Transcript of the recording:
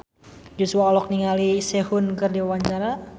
Joshua olohok ningali Sehun keur diwawancara